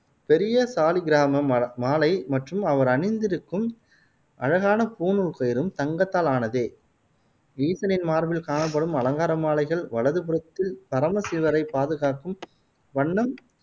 பெரிய சாலிக்கிராம ம மாலை மற்றும் அவர் அணிந்திருக்கும் அழகான பூணூல் கயிறும் தங்கத்தால் ஆனதே. ஈசனின் மார்பில் காணப்படும் அலங்கார மாலைகள், வலது புறத்தில் பரம சிவரை பாதுகாக்கும் வண்ணம்